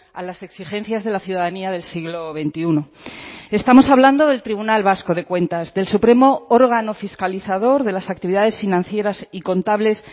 a las exigencias de la ciudadanía del siglo veintiuno estamos hablando del tribunal vasco de cuentas del supremo órgano fiscalizador de las actividades financieras y contables